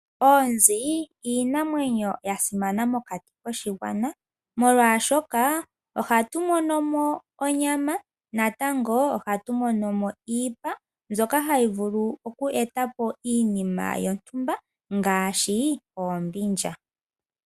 Oonzi odho iinamwenyo yasimana mokati koshigwana, molwashoka ohatu mono onyama, noshowo iipa mbyoka hayi vulu oku etapo iinima yontumba ngaashi oombindja.